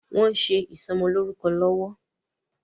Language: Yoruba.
Wòn sé isòmòlórúkò lòwò